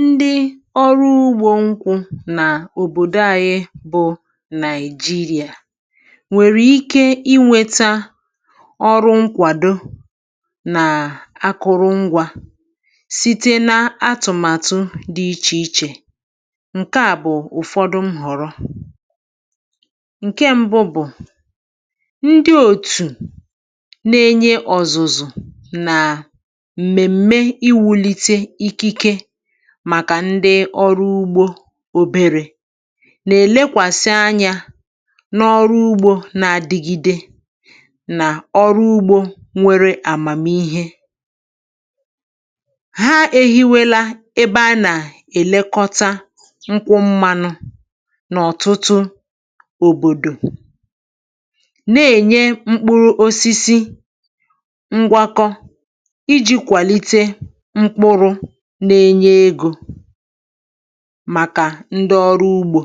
Ndị ọrụ ugbò nkwụ n’ọ̀bòdò anyị, Naịjíríà, nwere ike inweta nkwàdo na akụrụngwa, nwere ike inweta nkwàdo na akụrụngwa, site n’ụ̀fọdụ atụ̀màtụ dị iche iche. Ihe mbù, ihe mbù, bụ̀ òtù ndị na-enye ọ̀zụ̀zụ̀, na-enye ọ̀zụ̀zụ̀, karịsịa maka ndị ọrụ ugbò nta, maka ndị ọrụ ugbò nta, na-elekwasị anya n’ọrụ ugbò na-adịgide na ihe ọmụma ugbò dị ọhụrụ. Ha e hiwèla ebe, ha e hiwèla ebe, a na-elekọta nkwụ mmanụ n’ọ̀tụtụ̀ òbòdò, n’ọ̀tụtụ̀ òbòdò, ma na-enye mkpụrụ osisi ngwakọ, na-enye mkpụrụ osisi ngwakọ, iji kwalite mkpụrụ maka ndị ọrụ ugbò.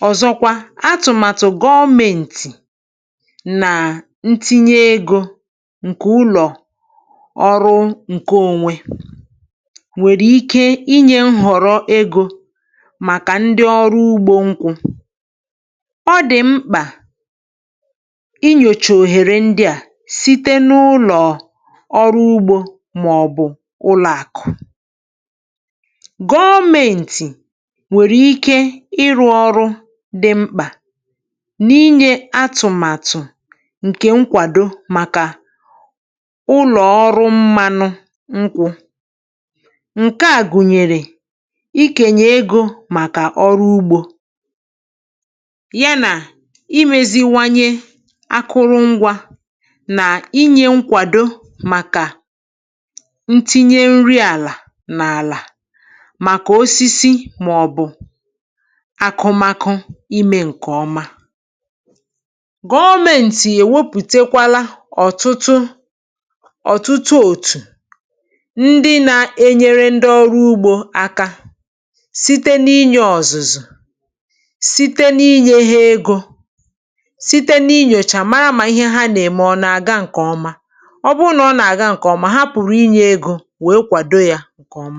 Na mgbakwunye, atụ̀màtụ gọ̀menti, atụ̀màtụ gọ̀menti, na itinye ego site n’aka ụlọ ọrụ nke onwe, itinye ego site n’aka ụlọ ọrụ nke onwe, nwere ike inye ego enyemaka maka ndị ọrụ ugbò nkwụ. Ọ dị̀ mkpa, ọ dị̀ mkpa, iji chọgharịa òhèrè ndị a, òhèrè ndị a, maọ̀bụ site n’aka ụlọ ọrụ ugbò maọ̀bụ site n’aka òtù gọ̀menti, n’ihi na ha nwere ike ịrụ ọrụ dị̀ ukwu, ịrụ ọrụ dị̀ ukwu, n’inye atụ̀màtụ nkwàdo maka ụlọ ọrụ mmanụ nkwụ. Atụ̀màtụ ndị a gụ̀nyere ego mgbazinye maka ndị ọrụ ugbò, ego mgbazinye maka ndị ọrụ ugbò, imeziwanye akụrụngwa, imeziwanye akụrụngwa, na inye nkwàdo, inye nkwàdo, maka osisi na ubi. Gọ̀menti emepụ̀takwara òtù dị̀ ukwuu, òtù dị̀ ukwuu, nke na-enyere ndị ọrụ ugbò aka site n’inye ọ̀zụ̀zụ̀, site n’inye ọ̀zụ̀zụ̀, site n’inye ha ego, site n’inye ha ego, na site n’inyocha ha, site n’inyocha ha, iji hụ na ihe ha na-eme na-aga nke ọma, na-aga nke ọma. um Ọ bụrụ na ihe na-aga nke ọma, ihe na-aga nke ọma, ha nwere ike inye ego ọzọ, ego ọzọ, iji kwàdò ọrụ ha, iji kwàdò ọrụ ha.